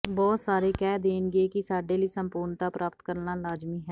ਬਹੁਤ ਸਾਰੇ ਕਹਿ ਦੇਣਗੇ ਕਿ ਸਾਡੇ ਲਈ ਸੰਪੂਰਨਤਾ ਪ੍ਰਾਪਤ ਕਰਨਾ ਲਾਜ਼ਮੀ ਹੈ